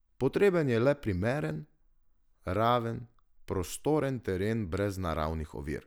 Potreben je le primeren, raven, prostoren teren brez naravnih ovir.